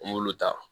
An m'olu ta